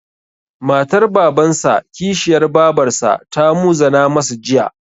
Matar Babansa/ Kishiyar Babarsa ta muzana masa Jiya.